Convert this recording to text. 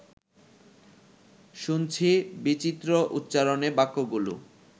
শুনছি বিচিত্র উচ্চারণে বাক্যগুলো